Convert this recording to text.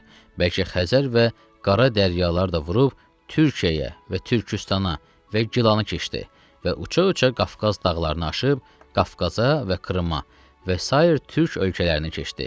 Bəlkə Xəzər və Qara daryalar da vurub Türkiyəyə və Türküstana və Gilanı keçdi və uça-uça Qafqaz dağlarını aşıb Qafqaza və Krıma və sair türk ölkələrini keçdi.